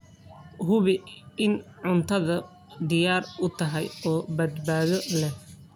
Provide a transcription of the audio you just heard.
Hubi in cuntadu diyaar u tahay oo badbaado leh.